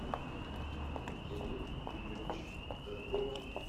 евгений юрьевич торгонский